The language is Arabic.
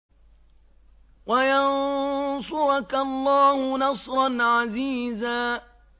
وَيَنصُرَكَ اللَّهُ نَصْرًا عَزِيزًا